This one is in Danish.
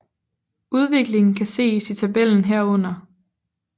Udviklingen kan ses i tabellen herunder